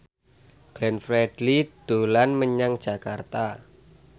Glenn Fredly dolan menyang Jakarta